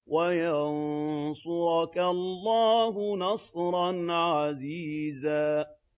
وَيَنصُرَكَ اللَّهُ نَصْرًا عَزِيزًا